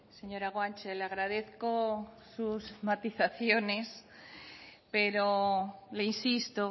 señora guanche le agradezco sus matizaciones pero le insisto